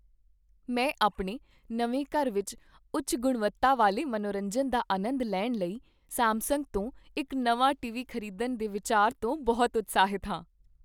ਮੈਂ ਆਪਣੇ ਨਵੇਂ ਘਰ ਵਿੱਚ ਉੱਚ ਗੁਣਵੱਤਾ ਵਾਲੇ ਮਨੋਰੰਜਨ ਦਾ ਆਨੰਦ ਲੈਣ ਲਈ ਸੈਮਸੰਗ ਤੋਂ ਇੱਕ ਨਵਾਂ ਟੀਵੀ ਖ਼ਰੀਦਣ ਦੇ ਵਿਚਾਰ ਤੋਂ ਬਹੁਤ ਉਤਸ਼ਾਹਿਤ ਹਾਂ।